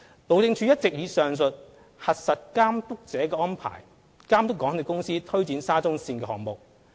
路政署一直以上述"核實監督者"的安排，監督港鐵公司推展沙中線項目。